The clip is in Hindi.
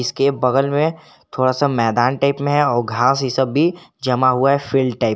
उसके बगल में थोड़ा सा मैदान टाइप में है घास ये सब भी जमा हुआ है फील्ड टाइप ।